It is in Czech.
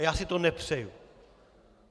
A já si to nepřeju.